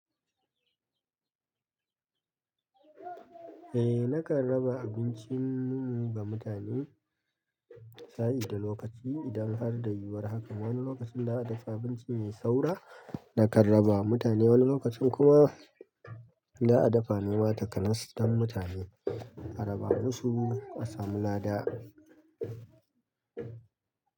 Eh, na karaba abincin ba mutane sa'id da lokaci. Idan har da yiwuwar haka, wani lokacin da a dafa abinci mai saura, na kan rabawa mutane. Wani lokacin kuma da a dafa nema takanas don mutane, a raba musu, a samu lada.